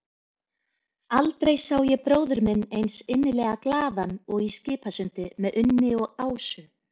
Aldrei sá ég bróður minn eins innilega glaðan og í Skipasundi með Unni og Ásu.